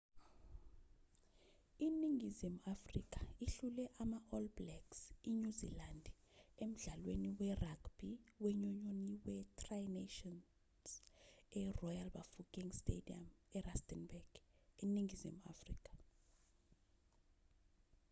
iningizimu afrika ihlule ama-all blacks inyuzilandi emdlalweni we-ragbhi wenyunyoni we-tri nations eroyal bafokeng stadium erustenburg eningizimu afrika